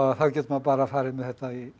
þá getur maður farið með þetta í